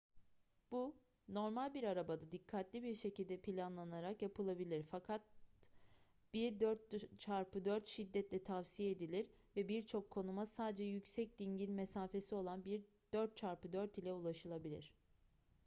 bu normal bir arabada dikkatli bir şekilde planlanarak yapılabilir fakat bir 4x4 şiddetle tavsiye edilir ve birçok konuma sadece yüksek dingil mesafesi olan bir 4x4 ile ulaşılabilir